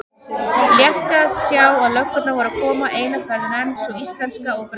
Létti að sjá að löggurnar voru að koma eina ferðina enn, sú íslenska og breska.